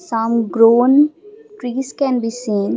some grown trees can be seen.